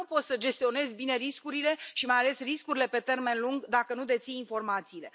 Dar nu poți să gestionezi bine riscurile, și mai ales riscurile pe termen lung, dacă nu deții informațiile.